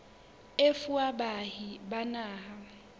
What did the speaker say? e fuwa baahi ba naha